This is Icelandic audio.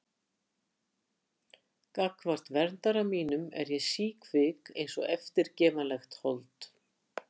Gagnvart verndara mínum er ég síkvik einsog eftirgefanlegt hold.